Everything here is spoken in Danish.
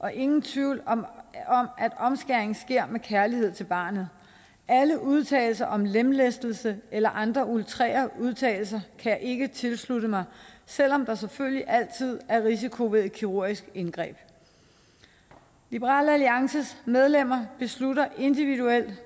er ingen tvivl om at omskæring sker af kærlighed til barnet alle udtalelser om lemlæstelse eller andre outrerede udtalelser kan jeg ikke tilslutte mig selv om der selvfølgelig altid er en risiko ved et kirurgisk indgreb liberal alliances medlemmer beslutter individuelt